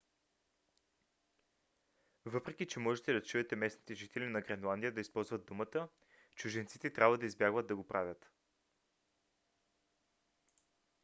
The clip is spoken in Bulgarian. въпреки че може да чуете местните жители на гренландия да използват думата чужденците трябва да избягват да го правят